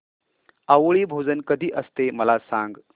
आवळी भोजन कधी असते मला सांग